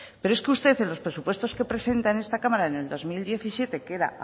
pero es que usted en los presupuestos que presenta en esta cámara en el dos mil diecisiete que era